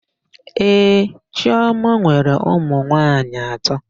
Ee, chiọma nwere ụmụnwaanyị atọ.